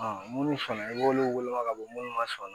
minnu fana i b'olu woloma ka bɔ minnu ma sɔn